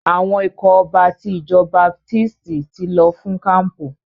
Àwọn ikọ̀ ọba ti ìjọ baptisti ti lọ fún kampu.